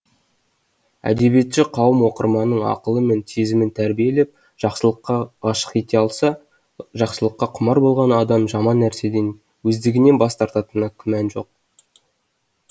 әдебиетші қауым оқырманның ақылы мен сезімін тәрбиелеп жақсылыққа ғашық ете алса жақсылыққа құмар болған адам жаман нәрседен өздігенен бас тартатынында күмән жоқ